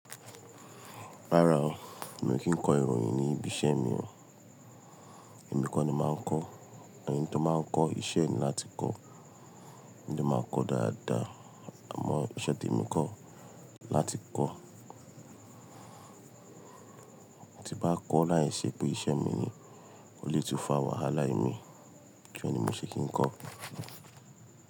Rárá o, mi ò kí ń kọ ìròyìn ní ibi iṣẹ́ mi o. Ẹ̀mí nìkan ni màá ń kọ́, then tó báa ń kọ́ iṣẹ́ ni láti kọ́, wọn dẹ̀ màá kọ dáadáa, àmọ́ iṣẹ́ ti ẹ̀mi kọ́ láti kọ́. Tí bá kọ́ láì ṣe pé iṣẹ́ mi ni, o lè tún fa wàhálà imi torí ẹ̀ ni mo ṣe kí ń kọ́.